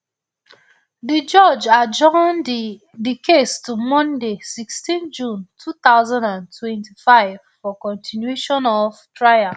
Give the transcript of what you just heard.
di judge adjourn di di case to monday sixteen june two thousand and twenty-five for continuation of trial